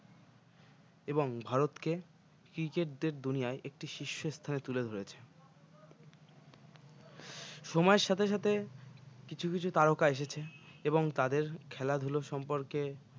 এবং ভারতকে cricket দের দুনিয়ায় একটি শীর্ষ স্থানে তুলে ধরেছে সময়ের সাথে সাথে কিছু কিছু তারকা এসেছে এবং তাদের খেলাধুলো সম্পর্কে